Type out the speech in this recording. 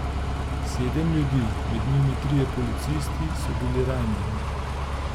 Sedem ljudi, med njimi trije policisti, so bili ranjeni.